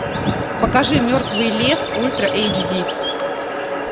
покажи мертвый лес ультра эйч ди